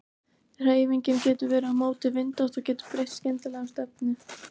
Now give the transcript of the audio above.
Hreyfingin getur verið á móti vindátt og getur breytt skyndilega um stefnu.